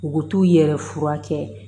U bɛ t'u yɛrɛ furakɛ